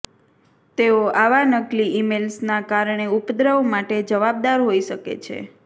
તેઓ આવા નકલી ઇમેઇલ્સના કારણે ઉપદ્રવ માટે જવાબદાર હોઈ શકે છે